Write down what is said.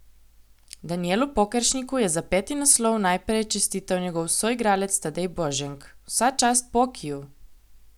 Danijelu Pokeršniku je za peti naslov najprej čestital njegov soigralec Tadej Boženk: 'Vsa čast Pokiju.